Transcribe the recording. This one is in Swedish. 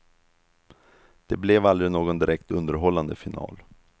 Det blev aldrig någon direkt underhållande final.